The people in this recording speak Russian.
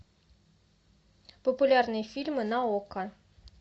популярные фильмы на окко